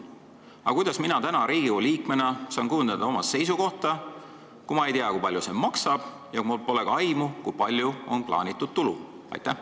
Aga kuidas mina täna Riigikogu liikmena saan kujundada oma seisukohta, kui ma ei tea, kui palju see maksab, ja mul pole ka aimu, kui palju on plaanitud tulu?